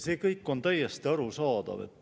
See kõik on täiesti arusaadav.